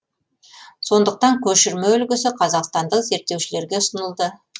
сондықтан көшірме үлгісі қазақстандық зерттеушілерге ұсынылды